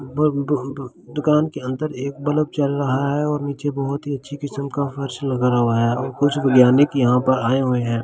दू दू दू दुकान के अंदर एक बल्ब जल रहा है और नीचे बहुत ही अच्छी किसम का फर्स लगवा है और कुछ बुलियानिक यहाँ पर आये हुए है ।